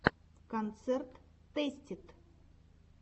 концерт тэстид